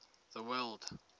the word